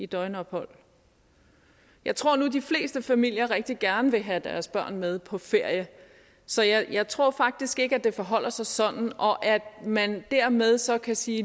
døgnophold jeg tror nu at de fleste familier rigtig gerne vil have deres børn med på ferie så jeg tror faktisk ikke at det forholder sig sådan og at man dermed så kan sige